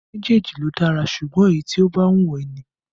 Méjèèjì ló dára, ṣùgbọ́n èyí tí ó bá wù ẹ́ ni